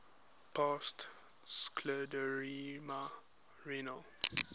past scleroderma renal